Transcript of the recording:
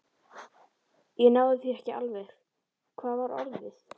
Ég náði því ekki alveg: hvað var orðið?